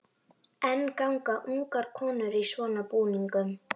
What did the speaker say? Miðaldra fólk var þar snöggtum fámennara.